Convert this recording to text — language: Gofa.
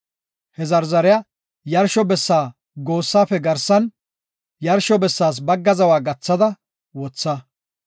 He zarzariya yarsho bessa goossaafe garsan yarsho bessaas bagga zawa gathada wotha.